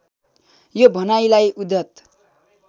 यो भनाइलाई उद्यत